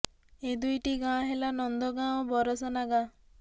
ଏ ଦୁଇଟି ଗାଁ ହେଲା ନନ୍ଦଗାଁ ଓ ବରସାନା ଗାଁ